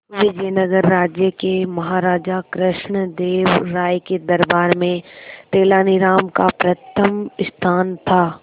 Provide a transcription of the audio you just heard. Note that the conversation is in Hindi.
विजयनगर राज्य के महाराजा कृष्णदेव राय के दरबार में तेनालीराम का प्रथम स्थान था